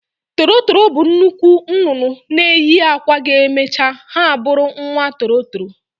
Toro toro bụ nnukwu nnụnụ na eyi akwa ga eme ha bụrụ nwa toro toro